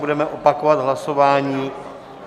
Budeme opakovat hlasování.